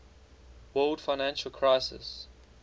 world financial crisis